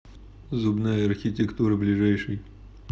зубная архитектура ближайший